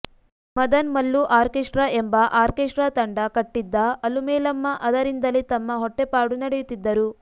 Madan Mallu orchestra ಎಂಬ orchestra ತಂಡ ಕಟ್ಟಿದ್ದ ಅಲುಮೇಲಮ್ಮ ಅದರಿಂದಲೇ ತಮ್ಮ ಹೊಟ್ಟೆಪಾಡು ನಡೆಯುತ್ತಿದ್ದರು